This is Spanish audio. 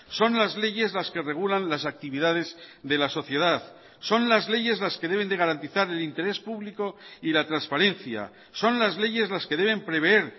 son las leyes las que regulan las actividades de la sociedad son las leyes las que deben de garantizar el interés público y la transparencia son las leyes las que deben preveer